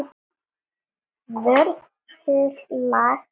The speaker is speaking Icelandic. Vörður laga og réttar.